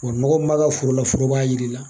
Kɔri nɔgɔ mun b'a ka foro la, foro b'a yira i la